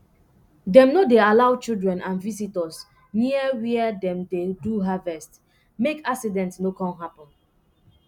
dem no dey allow children and visitors near wia dem dey do harvest make accident no come happen